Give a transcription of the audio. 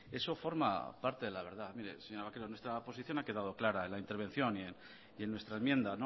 eso forma parte de la verdad mire señora vaquero nuestra posición ha quedado clara en la intervención y en nuestra enmienda